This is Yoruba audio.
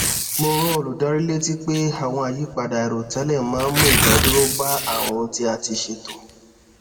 mo rán olùdarí létí pé àwọn àyípadà airotẹlẹ máa ń mu idaduro ba awọn ohun ti a ti ṣeto